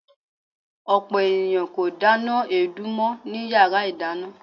Ọ̀pọ̀ ènìyàn kò dáná èédú mọ́ ní yara ìdáná.